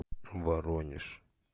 воронеж